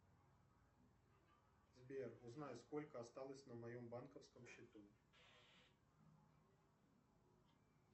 сбер узнай сколько осталось на моем банковском счету